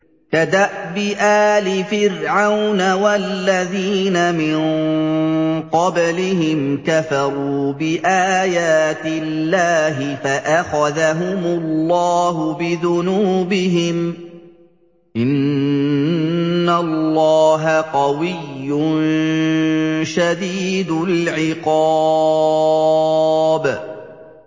كَدَأْبِ آلِ فِرْعَوْنَ ۙ وَالَّذِينَ مِن قَبْلِهِمْ ۚ كَفَرُوا بِآيَاتِ اللَّهِ فَأَخَذَهُمُ اللَّهُ بِذُنُوبِهِمْ ۗ إِنَّ اللَّهَ قَوِيٌّ شَدِيدُ الْعِقَابِ